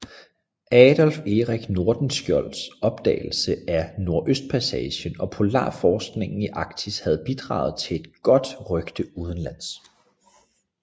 Adolf Erik Nordenskiölds opdagelse af Nordøstpassagen og polarforskningen i Arktis havde bidraget til et godt rygte udenlands